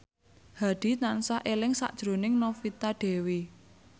Hadi tansah eling sakjroning Novita Dewi